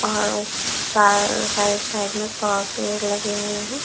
और side side में पेड़ लगे हुए हैं।